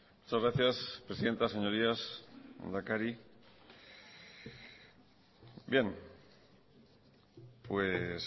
muchas gracias presidenta señorías lehendakari bien pues